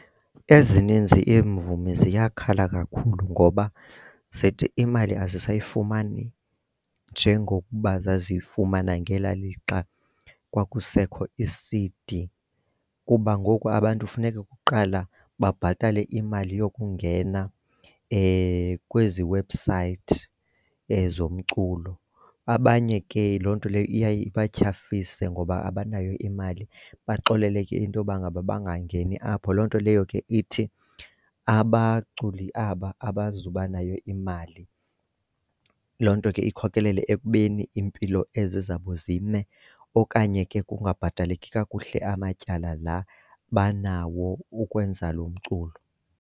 Ezininzi iimvumi ziyakhala kakhulu ngoba zithi imali azisayifumani njengokuba zaziyimana ngela lixa kwakusekho ii-C_D. Kuba ngoku abantu funeka kuqala babhatale imali yokungena kwezi webhusayithi zomculo. Abanye ke loo nto leyo iyaye ibatyhafise ngoba abanayo imali, baxolele ke into yoba ngaba bangangeni apho, loo nto leyo ke ithi abaculi aba abazuba nayo imali. Loo nto ke ikhokelele ekubeni iimpilo ezi zabo zime okanye ke kungabhataleki kakuhle amatyala la banawo ukwenza lo mculo.